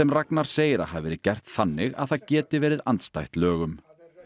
Ragnar segir að hafi verið gert þannig að það geti verið andstætt lögum